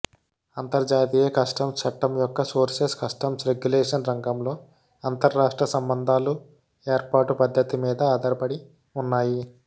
అంతర్జాతీయ కస్టమ్స్ చట్టం యొక్క సోర్సెస్ కస్టమ్స్ రెగ్యులేషన్ రంగంలో అంతరాష్ట్ర సంబంధాలు ఏర్పాటు పద్ధతి మీద ఆధారపడి ఉన్నాయి